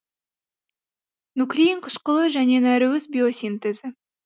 нуклеин қышқылы және нәруыз биосинтезі